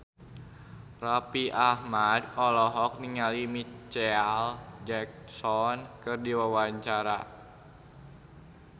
Raffi Ahmad olohok ningali Micheal Jackson keur diwawancara